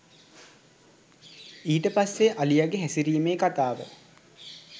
ඊට පස්සෙ අලියගෙ හැසිරීමේ කතාව